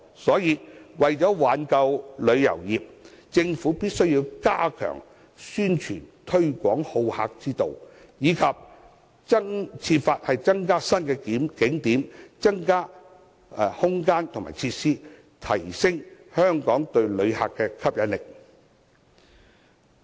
所以，為了挽救旅遊業，政府必須加強宣傳推廣好客之道，以及設法增加新景點、旅遊空間和設施，提升香港對旅客的吸引力。